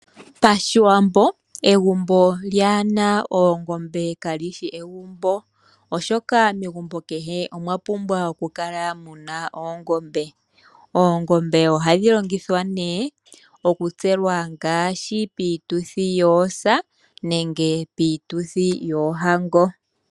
PaShiwambo egumbo lyaana oongombe kali shi egumbo., oshoka megumbo kehe omwa pumbwa oku kala muna oongombe. Oongombe ohadhi longithwa nee oku tselwa ngaashi piituthi yoosa nenge piituthi yoohango.